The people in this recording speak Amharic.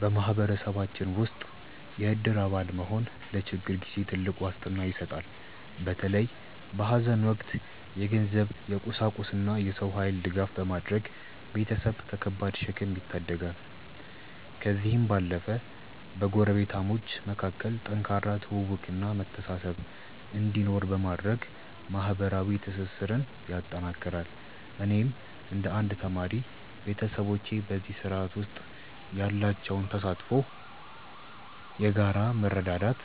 በማህበረሰባችን ውስጥ የእድር አባል መሆን ለችግር ጊዜ ትልቅ ዋስትና ይሰጣል። በተለይ በሐዘን ወቅት የገንዘብ፣ የቁሳቁስና የሰው ኃይል ድጋፍ በማድረግ ቤተሰብን ከከባድ ሸክም ይታደጋል። ከዚህም ባለፈ በጎረቤታሞች መካከል ጠንካራ ትውውቅና መተሳሰብ እንዲኖር በማድረግ ማህበራዊ ትስስርን ያጠናክራል። እኔም እንደ አንድ ተማሪ፣ ቤተሰቦቼ በዚህ ስርዓት ውስጥ ያላቸው ተሳትፎ የጋራ መረዳዳት